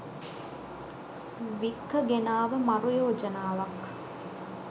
වික්ක ගෙනාව මරු යෝජනාවක්.